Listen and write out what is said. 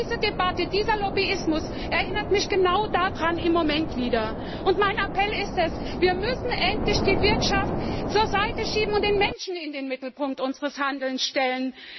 Diese Debatte, dieser Lobbyismus erinnert mich im Moment wieder genau daran. Mein Appell ist Wir müssen endlich die Wirtschaft zur Seite schieben und den Menschen in den Mittelpunkt unseres Handelns stellen!